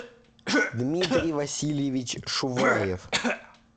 дмитрий васильевич шуваев